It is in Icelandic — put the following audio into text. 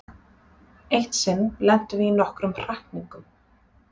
Eitt sinn lentum við í nokkrum hrakningum.